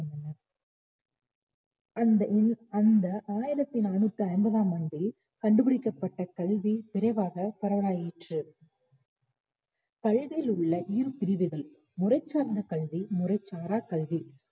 அந்த அந்த ஆயிரத்து நானூத்தி ஐம்பதாம் ஆண்டில் கண்டுபிடிக்கப்பட்ட கல்வி விரைவாக பரவலாயிற்று கல்வியிலுள்ள இரு பிரிவுகள் முறை சார்ந்த கல்வி முறை சாரா கல்வி